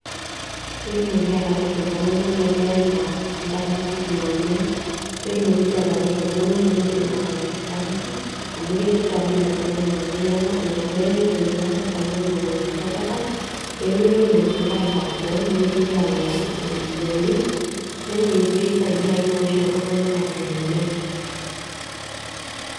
Peetumoki atereto ltunganak lemeeta nkajijik naamany, netumoki sii atareto ltunganak lemeidim atalak inkajijik amu ketii nadii lolo tunganak neaku ina peetayiua serkali niteru inashetata pemeitoki ltunganak airag boo nemeitoki alau iropiyiani, yani peisaidia ake maisha oltunganak aitelelek.